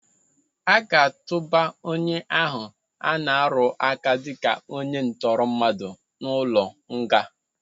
Aga atụba onye ahụ ana-arụaka dịka onye ntọrọmmadụ n'ụlọnga.